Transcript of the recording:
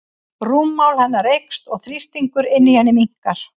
Rúmmál hennar eykst og þrýstingur inni í henni minnkar.